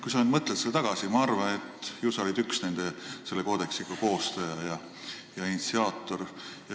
Ma arvan, et ju sa olid üks selle koodeksi koostaja ja initsiaator.